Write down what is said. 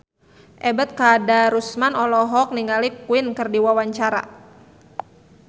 Ebet Kadarusman olohok ningali Queen keur diwawancara